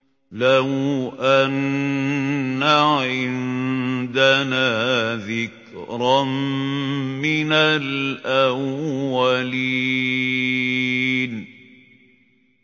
لَوْ أَنَّ عِندَنَا ذِكْرًا مِّنَ الْأَوَّلِينَ